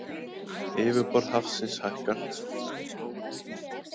Yfirborð hafsins hækkar